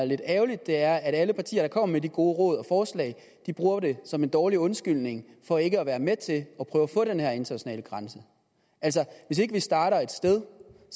lidt ærgerligt er at alle partier der kommer med de gode råd og forslag jo bruger det som en dårlig undskyldning for ikke at være med til at prøve at få den her internationale grænse altså hvis ikke vi starter et sted